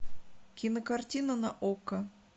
кинокартина на окко